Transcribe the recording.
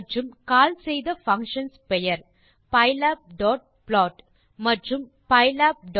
மற்றும் கால் செய்த பங்ஷன்ஸ் பெயர் pylabplot மற்றும் pylabannotate